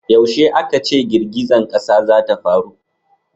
yaushe a ka ce girgizan ƙasa za ta faru?